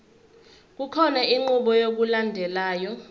kukhona inqubo yokulandelayo